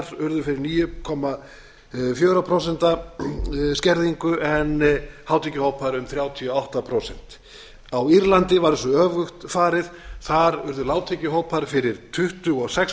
lágtekjuhópar urðu fyrir níu komma fjögur prósent skerðingu en hátekjuhópar um þrjátíu og átta prósent á írlandi var þessu öfugt farið þar urðu lágtekjuhópar fyrir tuttugu og sex